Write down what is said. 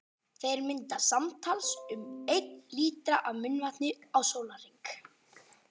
Þeir mynda samtals um einn lítra af munnvatni á sólarhring.